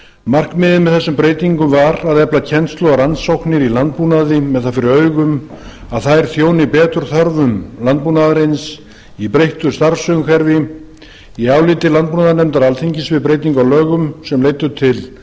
markmiðið með þessum breytingum var að efla kennslu og rannsóknir í landbúnaði með það fyrir augum að þær þjóni betur þörfum landbúnaðarins í breyttu starfsumhverfi í áliti landbúnaðarnefndar alþingis um breytingu á lögum sem leiddu til